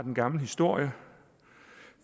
en gammel historie